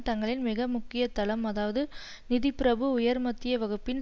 தங்களின் மிக முக்கிய தளம் அதாவது நிதி பிரபு உயர் மத்திய வகுப்பின்